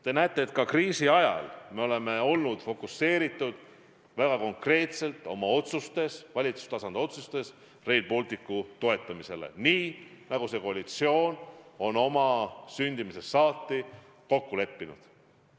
Te näete, et ka kriisi ajal me oleme olnud väga konkreetselt valitsustasandi otsustes fokuseeritud Rail Balticu toetamisele – nii, nagu see koalitsioon on oma sündimisest saati kokku leppinud.